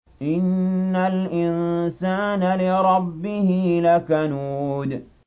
إِنَّ الْإِنسَانَ لِرَبِّهِ لَكَنُودٌ